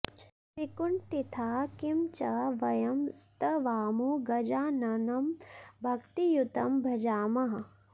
विकुण्ठिताः किं च वयं स्तवामो गजाननं भक्तियुतं भजामः